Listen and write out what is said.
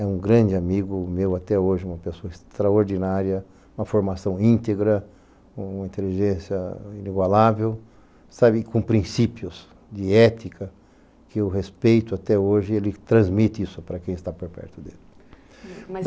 É um grande amigo meu até hoje, uma pessoa extraordinária, uma formação íntegra, uma inteligência inigualável, sabe, com princípios de ética que eu respeito até hoje e ele transmite isso para quem está por perto dele.